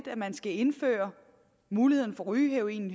at man skal indføre muligheden for rygeheroin